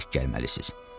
Tək gəlməlisiniz.